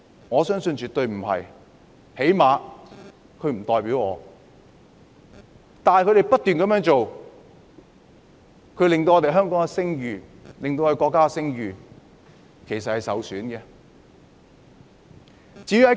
我相信絕對不是，最低限度他們不代表我；但他們不斷這樣做，其實是會令香港的聲譽和國家的聲譽受損的。